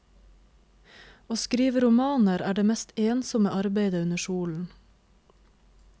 Å skrive romaner, er det mest ensomme arbeide under solen.